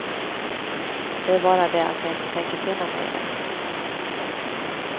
Det är bara det att jag inte tänker finna mig i det.